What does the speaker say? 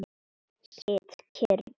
Sit kyrr.